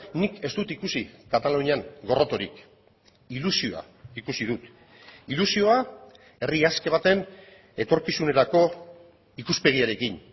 nik ez dut ikusi katalunian gorrotorik ilusioa ikusi dut ilusioa herri aske baten etorkizunerako ikuspegiarekin